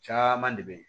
Caman de bɛ ye